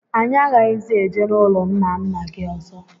Anyị aghaghịzi eje n'ụlọ ńnà ńnà gị ọzọ.